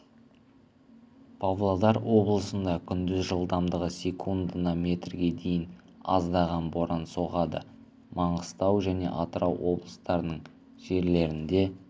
павлодар облысында күндіз жылдамдығы секундына метрге дейін аздаған боран соғады маңғыстау және атырау облыстарының кейбір жерлерінде